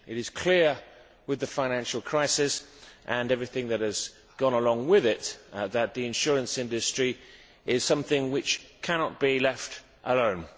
It is clear, with the financial crisis and everything that has gone along with it, that the insurance industry is something which cannot be left alone.